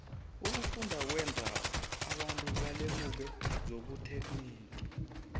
ukufunda kwenza abantu balemuke zobuterhnigi